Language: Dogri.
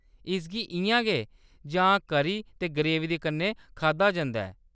इसगी इʼयां गै जां करी ते ग्रेवी दे कन्नै खाद्धा जंदा ऐ।